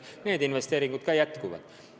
Need investeeringud jätkuvad.